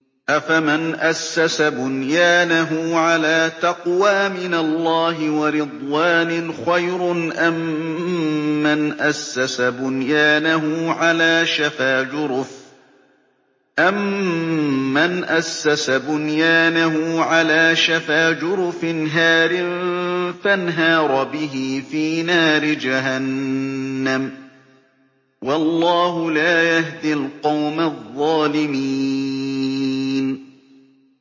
أَفَمَنْ أَسَّسَ بُنْيَانَهُ عَلَىٰ تَقْوَىٰ مِنَ اللَّهِ وَرِضْوَانٍ خَيْرٌ أَم مَّنْ أَسَّسَ بُنْيَانَهُ عَلَىٰ شَفَا جُرُفٍ هَارٍ فَانْهَارَ بِهِ فِي نَارِ جَهَنَّمَ ۗ وَاللَّهُ لَا يَهْدِي الْقَوْمَ الظَّالِمِينَ